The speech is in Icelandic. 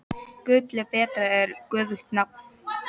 Gulli betra er göfugt nafn.